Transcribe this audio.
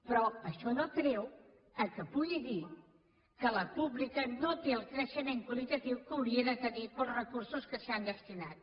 però això no treu que pugui dir que la pública no té el creixement qualitatiu que hauria de tenir pels recursos que s’hi han destinat